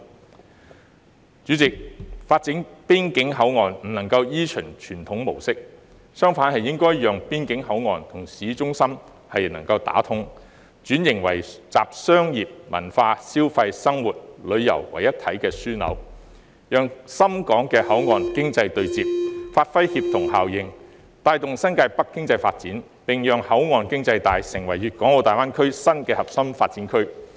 代理主席，發展邊境口岸不能夠依循傳統模式，相反應該讓邊境口岸與市中心能夠打通，並轉型為集商業、文化、消費、生活、旅遊為一體的樞紐，讓深港的口岸經濟帶對接，發揮協同效應，帶動新界北經濟發展，並讓口岸經濟帶成為粵港澳大灣區新核心發展區。